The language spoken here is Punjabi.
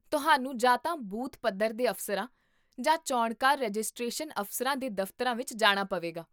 ਤੁਹਾਨੂੰ ਜਾਂ ਤਾਂ ਬੂਥ ਪੱਧਰ ਦੇ ਅਫ਼ਸਰਾਂ ਜਾਂ ਚੋਣਕਾਰ ਰਜਿਸਟ੍ਰੇਸ਼ਨ ਅਫ਼ਸਰਾਂ ਦੇ ਦਫ਼ਤਰਾਂ ਵਿੱਚ ਜਾਣਾ ਪਵੇਗਾ